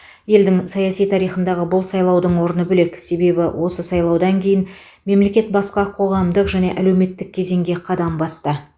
елдің саяси тарихындағы бұл сайлаудың орны бөлек себебі осы сайлаудан кейін мемлекет басқа қоғамдық және әлеуметтік кезеңге қадам басты